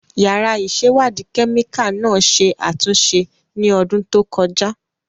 Yàrá ìṣèwádìí kẹ́míkà náà ṣe àtúnṣe ní ọdún tó kọjá.